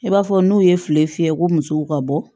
I b'a fɔ n'u ye feere fiyɛ ko musow ka bɔ